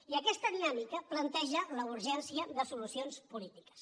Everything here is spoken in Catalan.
i aquest dinàmica planteja la urgència de solucions polítiques